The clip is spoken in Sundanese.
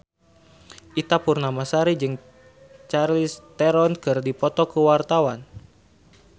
Ita Purnamasari jeung Charlize Theron keur dipoto ku wartawan